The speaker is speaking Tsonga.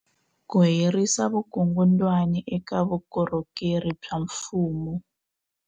Ku herisa vukungundwani eka vukorhokeri bya mfumo.